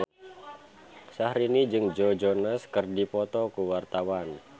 Syahrini jeung Joe Jonas keur dipoto ku wartawan